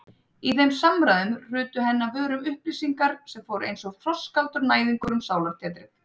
Í þeim samræðum hrutu henni af vörum upplýsingar sem fóru einsog frostkaldur næðingur um sálartetrið.